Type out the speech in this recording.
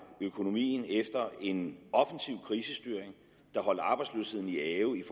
økonomien efter en offensiv krisestyring der holder arbejdsløsheden i ave i